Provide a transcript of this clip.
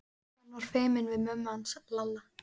Hann var feiminn við mömmu hans Lalla.